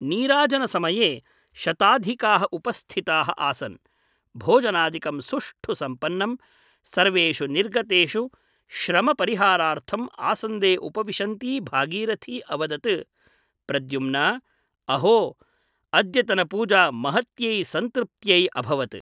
नीराजनसमये शताधिकाः उपस्थिताः आसन् । भोजनादिकं सुष्ठु सम्पन्नम् । सर्वेषु निर्गतेषु श्रमपरिहारार्थम् आसन्दे उपविशन्ती भागीरथी अवदत् प्रद्युम्न अहो , अद्यतनपूजा महत्यै सन्तृप्त्यै अभवत् ।